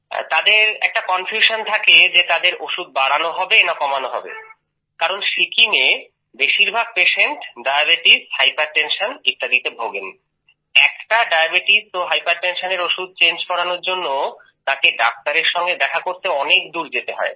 তাদের কনফিউশন থাকে যে তাদের ওষুধ বাড়ানো হবে না কমানো হবে কারণ সিকিমে বেশিরভাগ পেশেন্ট ডায়াবিটিস হাইপারটেনশন ইত্যাদিতে ভোগে একটা ডায়াবিটিস ও hypertensionএর ওষুধ চেঞ্জ করানোর জন্য তাঁকে ডাক্তারের সঙ্গে দেখা করতে অনেক দূর যেতে হয়